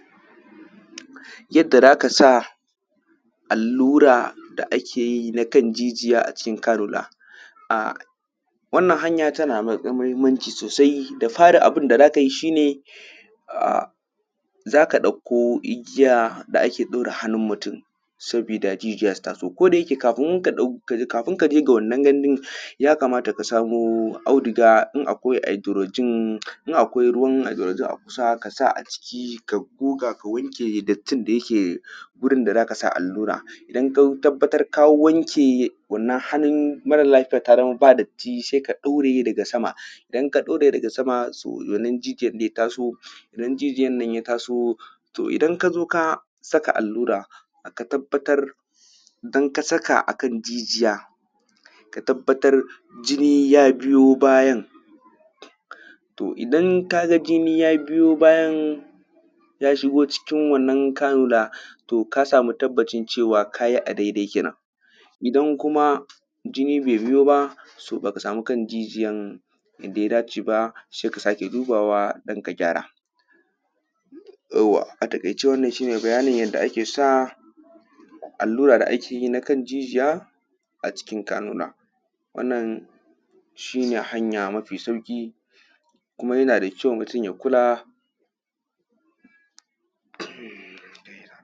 yadda za ka sa allura da ake yi na kan jijiya a cikin cannular wannan hanya tana da matuƙar muhimmanci sosai da fari abun da za ka yi shi ne za ka ɗauko igiya da ake ɗaure hannun mutum sabida jijiya su taso ko da yake kafin ka ɗauko kafin ka je ya kamata ka samo audiga in akwai hydrogen in akwai ruwan hydrogen a kusa ka sa a ciki ka goga ka wanke dattin da yake wurin da za ka sa allura idan ka tabbatar ka wanke wannan hannun mara lafiyar ta zama ba datti sai ka ɗaure daga sama idan ka ɗaure daga sama wannan jijijyar da ya ta sa to idan ka zo saka allura ka tabbatar idan ka saka a kan jijiya ka tabbatar jini ya biyo bayan to idan ka ga jini ya biyo bayan ya shigo cikin wannan cannular to ka samu tabbacin cewa ka yi a dai dai kenan idan kuma jini bai biyo ba to ba ka samu kan jijiyan inda ya da ce ba sai ka sake dubawa don ka gyara yauwa a taƙaice wannan shine bayanin yadda ake sa allura da ake yi a kan jijiya a cikin cannular wannan shine hanya mafi sauƙi kuma yana da kyau mutum ya kula